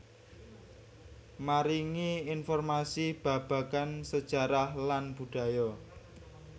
Maringi informasi babagan sejarah lan budaya